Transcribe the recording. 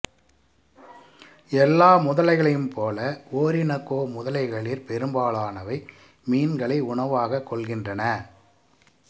எல்லா முதலைகளையும் போல ஓரினோக்கோ முதலைகளிற் பெரும்பாலானவை மீன்களை உணவாகக் கொள்கின்றன